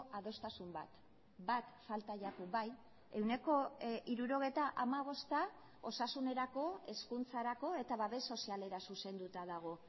adostasun bat bat falta jaku bai ehuneko hirurogeita hamabosta osasunerako hezkuntzarako eta babes sozialera zuzenduta dago